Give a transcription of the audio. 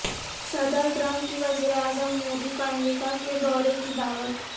صدر ٹرمپ کی وزیراعظم مودی کو امریکہ کے دورے کی دعوت